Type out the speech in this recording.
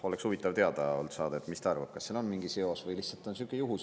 Oleks huvitav teada saada, mis ta arvab, kas sellel on mingi seos, või lihtsalt on sihuke juhus.